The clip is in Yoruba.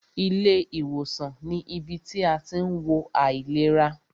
Ilé ìwòsàn ní ibi tí a tí ń wo àìlera.